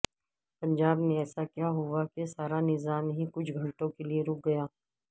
پنجاب میں ایسا کیا ہوا کہ سارا نظام ہی کچھ گھنٹوں کیلئے رک گیا